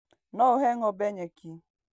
No ũhe ng'ombe nyeki